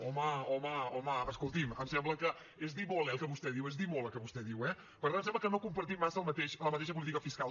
home home home escolti’m em sembla que és dir molt el que vostè diu és dir molt el que vostè diu eh per tant em sembla que no compartim massa la mateixa política fiscal